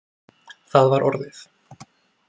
Það var orðið.